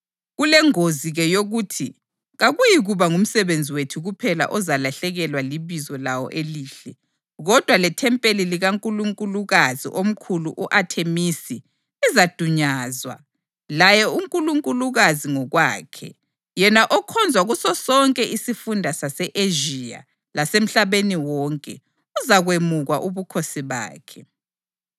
Kulengozi-ke yokuthi kakuyikuba ngumsebenzi wethu kuphela ozalahlekelwa libizo lawo elihle, kodwa lethempeli likankulunkulukazi omkhulu u-Athemisi lizadunyazwa, laye unkulunkulukazi ngokwakhe, yena okhonzwa kusosonke isifunda sase-Ezhiya lasemhlabeni wonke, uzakwemukwa ubukhosi bakhe.”